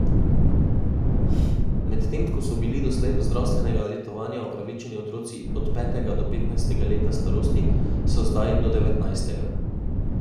Medtem ko so bili doslej do zdravstvenega letovanja upravičeni otroci od petega do petnajstega leta starosti, so zdaj do devetnajstega.